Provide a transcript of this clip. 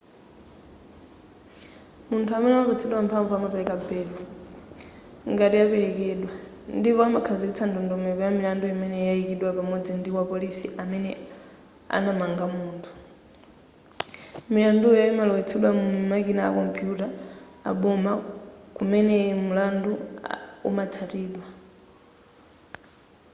munthu amene adapatsidwa mphamvu amapereka belo ngati yapelekedwa ndipo amakhazikitsa ndondomeko ya milandu imene yayikidwa pamodzi ndi wapolisi amene anakamanga munthu milanduyo imalowetsedwa mu makina a kompuyuta aboma kumene mulandu umatsatidwa